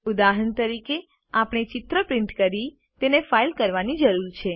ઉદાહરણ તરીકે આપણે ચિત્ર પ્રિન્ટ કરી તેને ફાઇલ કરવાની જરૂર છે